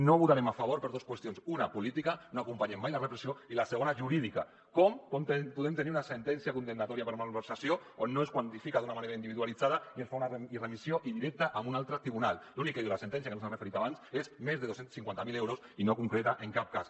no hi votarem a favor per dues qüestions una política no acompanyem mai la repressió i la segona jurídica com podem tenir una sentència condemnatòria per malversació on no es quantifica d’una manera individualitzada i es fa una remissió indirecta a un altre tribunal l’únic que diu la sentència que no s’hi han referit abans és més de dos cents i cinquanta mil euros i no concreta en cap cas